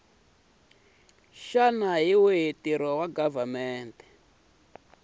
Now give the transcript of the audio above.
xana hi wihi ntirho wa